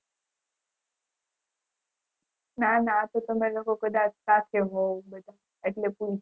ના ના આતો તમે લોકો કદાચ સાથે હોઉં એટલે કહું